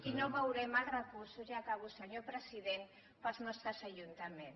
i no veurem els recursos i acabo senyor president per als nostres ajuntaments